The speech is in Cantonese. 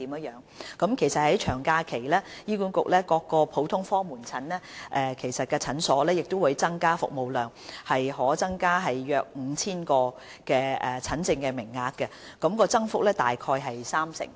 醫管局各普通科門診診所在長假期會增加服務量，約可增加 5,000 個診症名額，增幅大概三成。